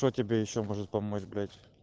что тебе ещё может помочь блять